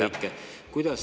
Aitäh!